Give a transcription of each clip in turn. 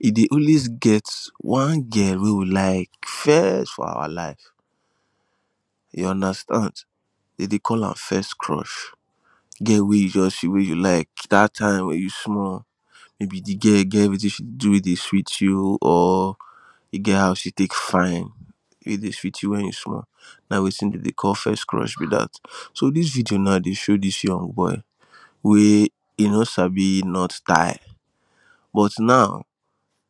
e dey always get one girl wey we like first for our life you understand dem dey call am first crush girl wey you just feel wey you like that time wey you small maybe the girl gets wetin she do wey dey sweet you or you get how she take fine wey dey sweet you when you small na wetin dem dey call first crush be that so this video now dey show this young boy wey e no sabi knot tie now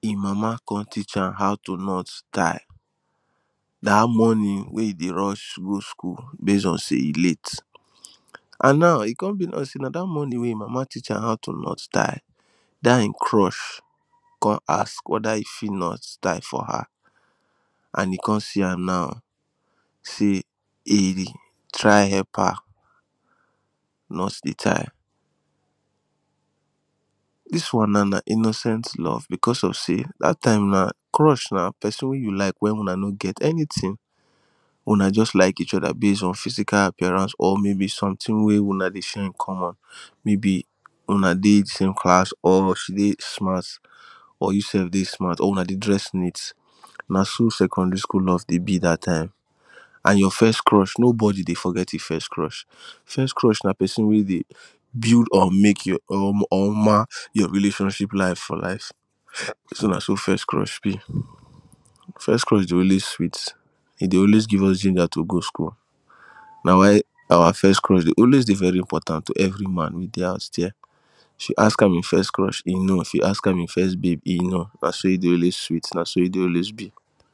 him mama con teach am how to knot tie that morning wey e dey rush go school base on say e late and now e come be like say na that morning wey him mama teach am how to knot tie that hin crush come ask whether e fit knot tie for her and he come see her now say he try help her knot the tie this one now na innocent love because of say that time na crush na person wey you like when una no get anything una just like each other base on physical appearance or maybe something wey Una dey share in common maybe Una dey the same class or she dey smart or you sef dey smart or Una dey dress neat na so secondary school love dey be that time and your first crush nobody dey forget him first crush. First crush na person wey dey build or make or mark your relationship life for life so na so first crush be first crush dey always sweet e dey always give us ginger to go school na why our first crush dey always dey very important to everyman wey dey house there. If you ask am him first crush he know if you ask am him first babe he know na so e dey always sweet na so dey always be